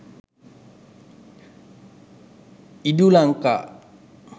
edulanka